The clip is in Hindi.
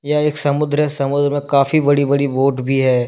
यह एक समुद्र है समुद्र में काफी बड़ी बड़ी बोट भी है।